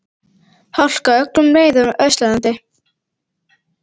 Hálka á öllum leiðum á Austurlandi